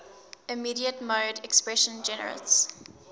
immediate mode expression generates